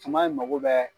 Tuma in mago bɛɛ